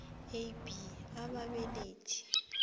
a b ababelethi